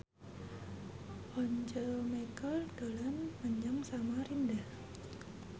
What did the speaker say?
Once Mekel dolan menyang Samarinda